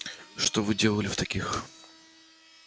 что вы делали в таких